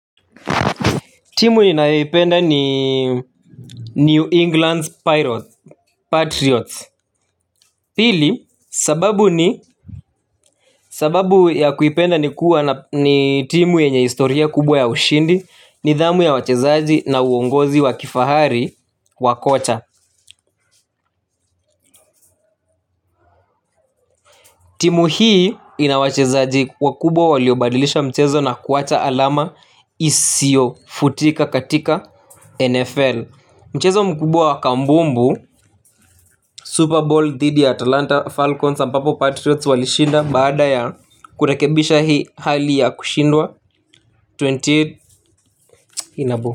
Timu inayeipenda ni New England's Patriots. Pili, sababu ni sababu ya kuipenda ni timu yenye historia kubwa ya ushindi, ni dhamu ya wachezaji, na uongozi wa kifahari, wakocha. Timu hii, ina wachezaji wakubwa waliobadilisha mchezo na kuwacha alama, isio futika katika NFL. Mchezo mkubwa wakambumbu Super Bowl dhidi ya Atlanta Falcons ambapo Patriots walishinda baada ya, kurekebisha hii hali ya kushindwa ishirini inaboo.